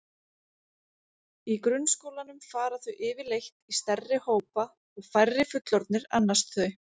Í grunnskólanum fara þau yfirleitt í stærri hópa og færri fullorðnir annast þau.